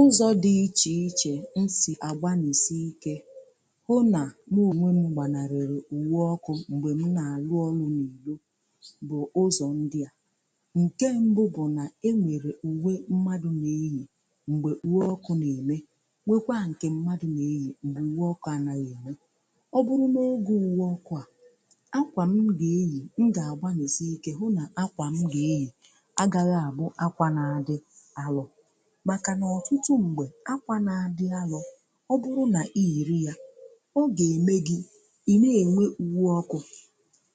Ụzọ dị iche iche m si agbanarị iwe ọkụ mgbe m na-arụ ọrụ n’ụlọ ọrụ ugbò bụ ndị a: Nke mbụ, e nwere uwe pụrụ iche mmadụ na-eyị mgbe ọ na-arụ ọrụ n'ebe ọkụ maọbụ ọkụ eletrik dị. Uwe a na-enyere mmadụ aka igbochi iwe ọkụ ma chekwaa ya n’ime ọnọdụ ize ndụ. Ọ bụrụ na oge ọrụ bịara, ma m yikwuo uwe ọkụ a, uwe m ga-agbasa ọkụ, gosi na ọ dị ezigbo mkpa ma bara uru. Ọ bụrụ na m na-eyị akwa nkịtị kama uwe ọkụ, ọ ga-eme ka ọkụ dakwasị m ngwa ngwa.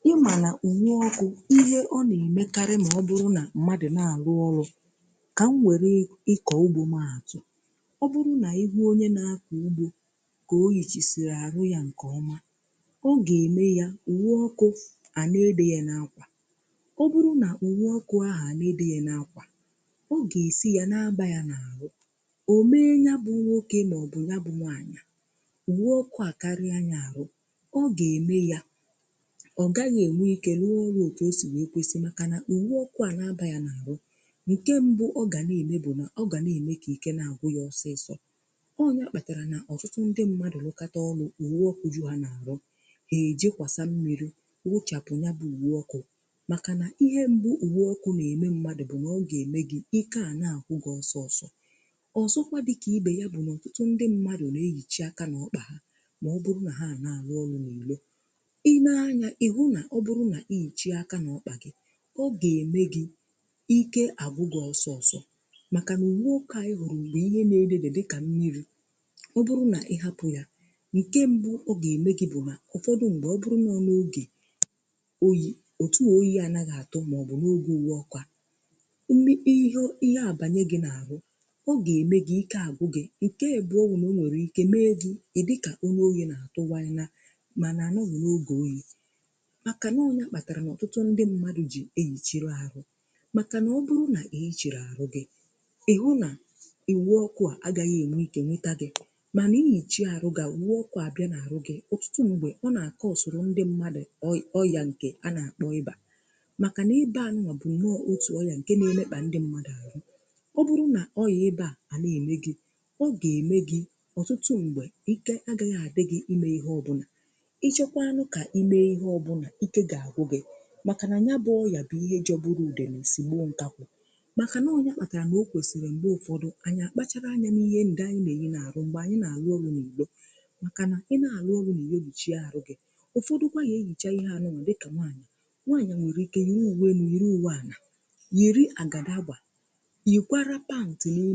Ị maara na uwe ọkụ, ihe ọ na-emekarị bụ inye nchekwa. Ọ bụrụ na mmadụ na-arụ ọrụ ugbo, dị ka m nwere ikọ ugbo m kpọrọ, ma hu onye na-akọ ugbo yikwasịrị akpụkpọ ụkwụ maọbụ uwe arụ nke ọma, ọ ga-eme ya mma, n’ihi na ọ dịghị mfe ka ihe ize ndụ emetụ ya. Ma ọ bụrụ na nwoke ahụ anaghị eyị uwe kwesịrị ekwesị, ọkụ ga-abanye ya n’arụ. Nke a ga-eme ka ike daa ya. Ọzọkwa, ọ nwere ike ịlụso ọkụ agha ma mụọ ya n'ọtụtụ ụzọ. A jụrụ ụfọdụ ndị nwoke na-arụ ọrụ n’ụlọ ọrụ, ha sịrị na ha jikwasi mmiri sachapụ uwe ọkụ ha mgbe ụfọdụ, n’ihi na ihe mbụ uwe ọkụ na-eme mmadụ bụ ichebe ahụ. Ọzọkwa dịka ibe ya, ọtụtụ ndị mmadụ na-ehicha aka n’ọkpụ ha maọbụ n’akụkụ ahụ ha mgbe ha na-arụ ọrụ elu, ka ha ghara itufu ume. Ọbụrụ na ị na-ehicha aka gị n’ọkpụ, ọ ga-eme gị ike agwụ gị ngwa ngwa. Nke a bụ n’ihi na uwe oke i hụrụ bụ ihe dị ka mmiri ọbụrụ na ịchapụ ya, nke mbụ o ga-eme bụ ime ka oyi metụ gị. Ụfọdụ mgbe, ọ bụrụ na oge oyi abịa, oyi a nwere ike metụ gị maọbụ nwee mmetụta dị ka ọrịa oyi. Ọ bụrụkwa na ọ bụghị oge oyi, ma akwa ahụ emebiela, o nwere ike mee ka ahụ jụụ, mee ka mmadụ daa ike. N’ihi ya, ọ dị ezigbo mkpa ka ndị mmadụ yikwuo uwe ọkụ kwesịrị ekwesị mgbe ha na-arụ ọrụ, ka ọkụ ghara imetụta ha. Ọtụtụ mgbe, a na-akpọ ihe ọkụ na-akpata n’ahụ mmadụ ịba. Ịba bụ umeọ ụdị ọkụ ahụ na-abanye n’ime mmadụ, mee ka ike ya daa, ma mee ka ahụ sie ike. Ọtụtụ mgbe, ihe a na-eme ka mmadụ ghara ime ọrụ ọma ịba na-eme ka ike daa mmadụ, mee ka mmadụ nwee mmetụta nke na o nweghị ike ime ihe ọ bụla ma ịbụ ime anụ, ma ịbụ ịchekwa ihe ubi, ma ọbụ ime ihe ọ bụla ọzọ. Ọ bụ nsogbu nke ukwuu, n’ihi na anya na-ele ihe, ma ihe jọgburu onwe ya na-adịkarị n’anya mgbe ọkụ batara mmadụ. Nke a gosiri na ọ dị ezigbo mkpa ka anyị kpachara anya n’ihe anyị na-eyị n’arụ, mgbe anyị na-arụ ọrụ n’ugbo. Maka na ị na-arụ ọrụ n’ihe obichi, uwe gị kwesịrị ịdị ọcha, dịkwa mma. Ọzọkwa, nwaanyị nwere ike yikwuo uwe dị ka owenu maọbụ awa, iji chebe onwe ya,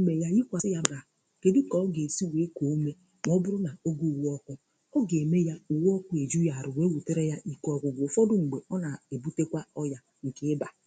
maọbụ mee ka ọ dị mma iji rụọ ọrụ. Ọ bụrụ na oge uwe ọkụ bịarịa, ọ ga-eme ya ka ọ dị ọkụ, ma ọ bụrụ na uwe ahụ ekweghị arụ, ọ ga wutere ya ike. Ugbo a na-ebute ọrụ ya dị ka ịba, kwesịrị ịbụ nke dị mma. Ọ bụrụ na uwe gị anaghị adabara, ị nwere ike ịnọ n’ihe ize ndụ.